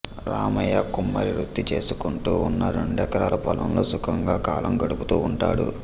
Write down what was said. రామయ్య కుమ్మరివృతీ చేసుకుంటూ ఉన్న రెండెకరాల పొలంతో సుఖంగా కాలం గడుపుతూ ఉంటాడు